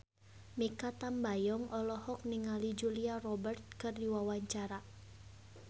Mikha Tambayong olohok ningali Julia Robert keur diwawancara